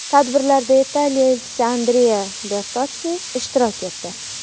Tadbirlarda Italiya Elchisi Andrea Bertotssi ishtirok etdi.